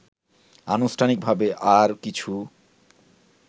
আনুষ্ঠানিকভাবে আর কিছু